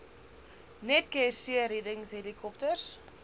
netcare seereddings helikopters